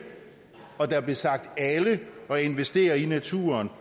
og der blev sagt alle at investere i naturen